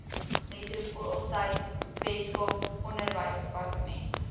metropoolsuid weskaap onderwysdepartement